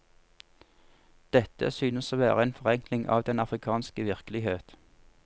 Dette synes å være en forenkling av den afrikanske virkelighet.